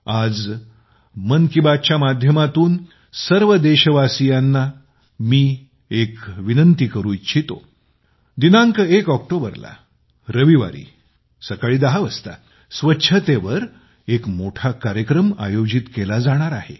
आज मी मन की बात च्या माध्यमातून सर्व देशवासियांना एक विनंती करू इच्छितो की दिनांक 1 ऑक्टोबरला रविवारी सकाळी 10 वाजता स्वच्छतेवर एक मोठा कार्यक्रम आयोजित केला जाणार आहे